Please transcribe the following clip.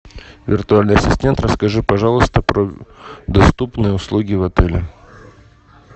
виртуальный ассистент расскажи пожалуйста про доступные услуги в отеле